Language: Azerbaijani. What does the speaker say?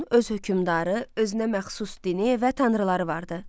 Nomun öz hökmdarı, özünə məxsus dini və tanrıları vardı.